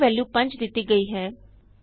a ਨੂੰ value 5 ਦਿਤੀ ਗਈ ਹੈ